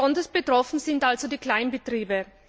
Besonders betroffen sind also die Kleinbetriebe.